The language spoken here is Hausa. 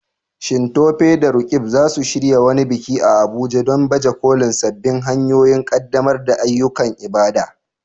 Shin Tope da Roqeeb za su shirya wani biki a Abuja don baje kolin sabbin hanyoyin ƙaddamar da ayyukan ibada?